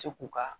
Se k'u ka